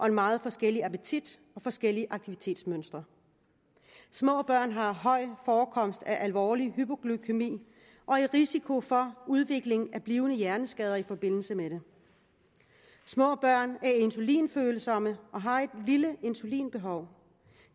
en meget forskellig appetit og forskellige aktivitetsmønstre små børn har høj forekomst af alvorlig hypoglykæmi og er i risiko for udvikling af blivende hjerneskader i forbindelse med det små børn er insulinfølsomme og har et lille insulinbehov